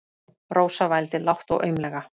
Rósa vældi lágt og aumlega.